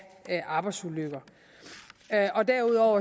arbejdsulykker derudover